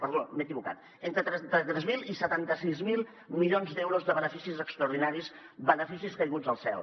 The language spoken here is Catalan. perdó m’he equivocat entre trenta tres mil i setanta sis mil milions d’euros de beneficis extraordinaris beneficis caiguts del cel